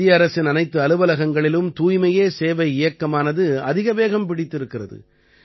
மத்திய அரசின் அனைத்து அலுவலகங்களிலும் தூய்மையே சேவை இயக்கமானது அதிக வேகம் பிடித்திருக்கிறது